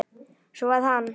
Svo að hann.